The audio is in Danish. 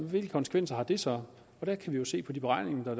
hvilke konsekvenser det så har der kan vi jo se på de beregninger